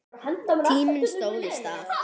Tíminn stóð í stað.